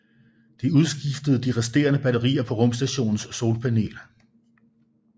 De udskiftede de resterende batterier på rumstationens solpanel